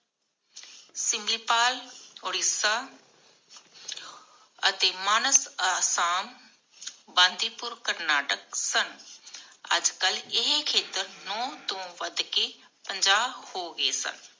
ਸਿਮਿਪਾਲ ਉੜੀਸਾ ਅਤੇ ਮਾਨਸ ਅਸਾਮ, ਬੰਦੀਪੁਰ ਕਰਨਾਟਕ ਸਨ. ਅਜਕਲ ਇਹ ਖੇਤਰ ਨੌ ਤੋਂ ਵੱਧ ਕੇ ਪੰਜਾਹ ਹੋ ਗਏ ਸਨ.